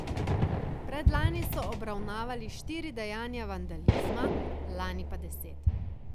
Predlani so obravnavali štiri dejanja vandalizma, lani pa deset.